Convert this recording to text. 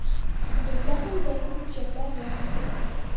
Bizda ham zarur hujjatlar bor.